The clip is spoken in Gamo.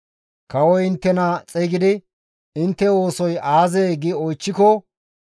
Kawoy inttena xeygidi, ‹Intte oosoy aazee?› gi oychchiko,